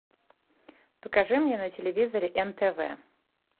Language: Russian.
покажи мне на телевизоре нтв